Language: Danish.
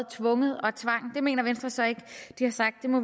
tvunget og tvang det mener venstre så ikke de har sagt det må